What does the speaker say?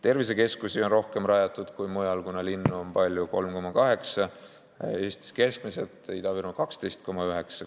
Tervisekeskusi on rohkem rajatud kui mujal, kuna linnu on palju: Eestis keskmiselt 3,8%, Ida-Virumaal 12,9%.